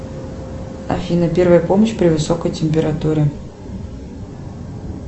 афина первая помощь при высокой температуре